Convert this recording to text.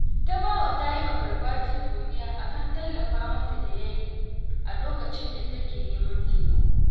Tabawa ta yi wa Garbati godiya a kan tallafa mata da ya yi a lokacin da take neman taimako